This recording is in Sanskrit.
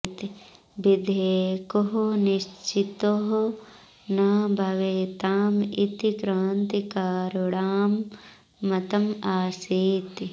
विधेयकौ निश्चितौ न भवेताम् इति क्रान्तिकारिणां मतम् आसीत्